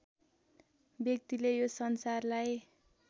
व्यक्तिले यो संसारलाई